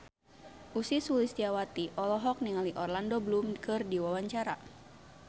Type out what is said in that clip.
Ussy Sulistyawati olohok ningali Orlando Bloom keur diwawancara